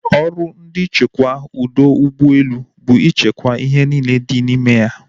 Ọrụ ndị nchekwa ọdọ ụgbọelu bụ i chekwaa ihe niile dị n'ime ya